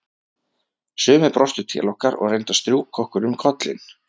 Sumir brostu til okkar og reyndu að strjúka okkur um kollinn.